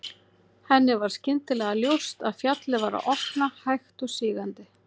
Henni varð skyndilega ljóst að fjallið var að opnast hægt og sígandi.